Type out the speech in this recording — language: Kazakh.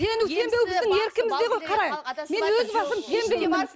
сену сенбеу біздің еркімізде ғой қара мен өз басым сенбеймін